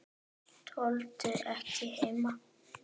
Tolldu ekki heima.